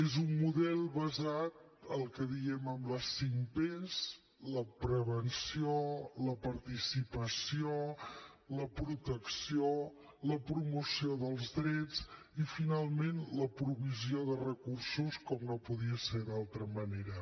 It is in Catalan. és un model basat en el que en diem les cinc pes la prevenció la participació la protecció la promoció dels drets i finalment la provisió de recursos com no podia ser d’altra manera